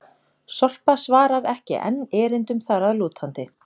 Sorpa svarar ekki enn erindum þar að lútandi!